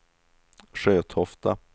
Sjötofta